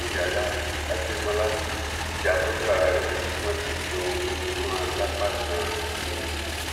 muyala adémọlá ya fọtò ara rẹ níbi tí wọn ti sọ omi mọ ọn lápá ganan sí ni